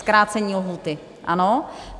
Zkrácení lhůty - ano.